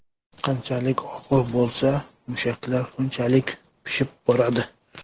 Qanchalik og‘ir bo‘lsa, mushaklar shunchalik pishib boradi.